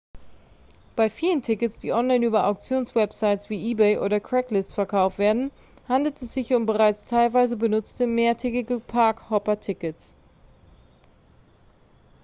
bei vielen tickets die online über auktionswebsites wie ebay oder craigslist verkauft werden handelt es sich um bereits teilweise benutzte mehrtägige park-hopper-tickets